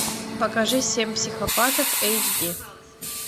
покажи семь психопатов эйч ди